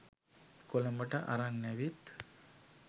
කොළඹට අරන් ඇවිත්